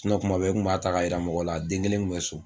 kuma bɛ n kun b'a ta yira mɔgɔw la a den kelen kun bɛ so.